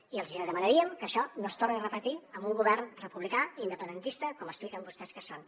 i els demanaríem que això no es torni a repetir amb un govern republicà independentista com expliquen vostès que són